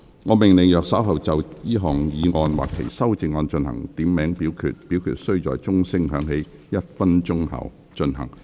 我命令若稍後就這項議案或其修正案進行點名表決，表決須在鐘聲響起1分鐘後進行。